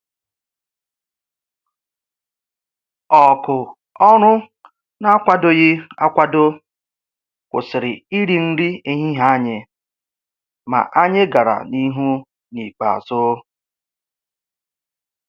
Òkù ọrụ n'akwadoghị akwado kwụsịrị iri nri ehihie anyị, ma anyị gàrà n' ihu n' ikpeazụ.